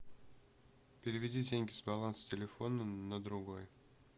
переведи деньги с баланса телефона на другой